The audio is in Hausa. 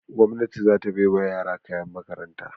Gwamnati za ta bai wa yara kayan makaranta.